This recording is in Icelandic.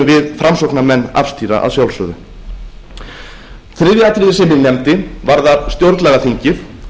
við framsóknarmenn afstýra að sjálfsögðu þriðja atriðið sem ég nefndi varðar stjórnlagaþingið